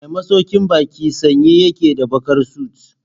Mai masaukin baki sanye yake da bakar suit.